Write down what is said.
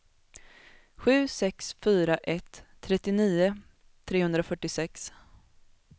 sju sex fyra ett trettionio trehundrafyrtiosex